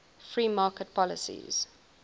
free market policies